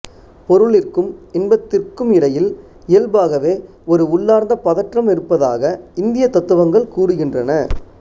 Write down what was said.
பொருளிற்கும் இன்பத்திற்கும் இடையில் இயல்பாகவே ஒரு உள்ளார்ந்த பதற்றம் இருப்பதாக இந்திய தத்துவங்கள் கூறுகின்றன